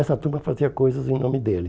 Essa turma fazia coisas em nome dele.